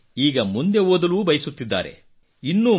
ಅಮ್ಮ ಈಗ ಮುಂದೆ ಓದಲು ಬಯಸುತ್ತಿದ್ದಾರೆ